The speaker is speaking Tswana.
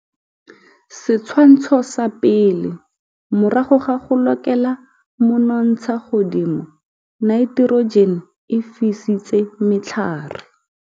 Setshwantsho sa 1, morago ga go lokela monontshagodimo naiterojene e fisitse matlhare.